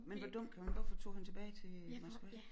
Men hvor dum kan man hvorfor tog han tilbage til Moskva